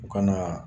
U kana